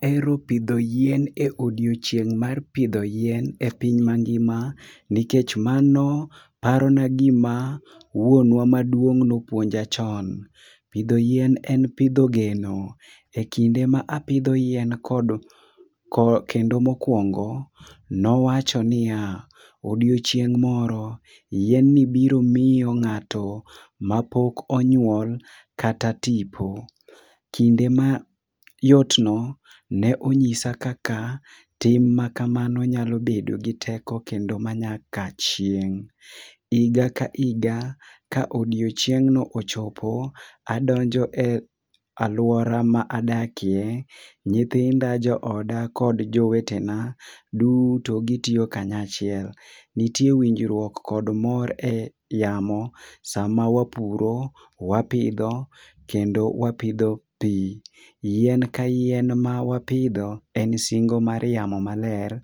Aero pidho yien e odiochieng' mar pidho yien e piny mangima, nikech mano parona gima wuonwa maduong' nopuonja chon. Pidho yien en pidho geno. E kinde ma apidho yein kod ke kendo mokwongo, nowacho niya, "odiochieng' moro, yien ni biro mio ng'ato mapok onyuol kata tipo." Kinde mayot no ne onyisa kaka tim makamano nyalo bedo gi teko kendo manyakachieng'. Iga ka iga, ka odiochieng'no ochopo, adonjo e alwora ma adakie, nyithinda, jooda kod jowetena duto gitio kanyachiel. Nitie winjrwuok kod mor e yamo sama wapuro, wapidho kendo wapidho pii. Yien ka yien mawapidho en singo mar yamo maler,